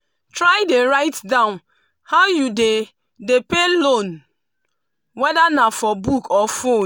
try dey write down how you dey dey pay your loan wether na for book or phone.